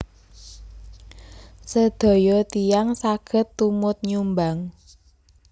Sedaya tiyang saged tumut nyumbang